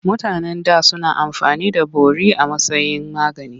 Mutanen da suna amfani da bori a matsayin magani.